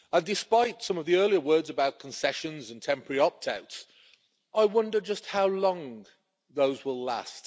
Despite some of the earlier words about concessions and temporary opt outs, I wonder just how long those will last.